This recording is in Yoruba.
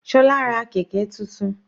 Sola ra kẹ̀kẹ́ tuntun.